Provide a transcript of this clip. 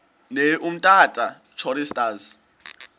ne umtata choristers